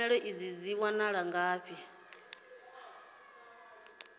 tshumelo idzi dzi wanala ngafhi